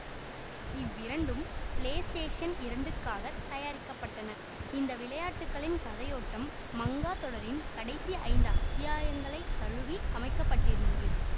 இவ்விரண்டும் ப்ளேஸ்டேஷன் இரண்டுக்குகாக தயாரிக்க பட்டன இந்த விளையாட்டுகளின் கதையோட்டம் மங்கா தொடரின் கடைசி ஐந்து அத்தியாயங்களைத் தழுவி அமைக்க பட்டிருந்தது